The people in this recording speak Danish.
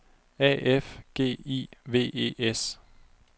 A F G I V E S